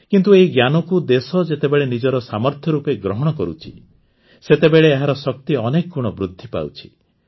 କିନ୍ତୁ ଏହି ଜ୍ଞାନକୁ ଦେଶ ଯେତେବେଳେ ନିଜର ସାମର୍ଥ୍ୟ ରୂପେ ଗ୍ରହଣ କରୁଛି ସେତେବେଳେ ଏହାର ଶକ୍ତି ଅନେକ ଗୁଣ ବୃଦ୍ଧି ପାଉଛି